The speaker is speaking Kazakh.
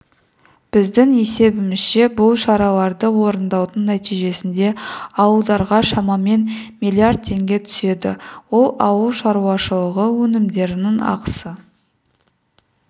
біздің есебімізше бұл шараларды орындаудың нәтижесінде ауылдарға шамамен миллиард теңге түседі ол ауыл шаруашылығы өнімдерінің ақысы